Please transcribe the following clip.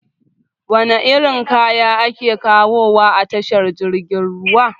Wana irin kaya ake kawowa a tashar jirgin ruwa?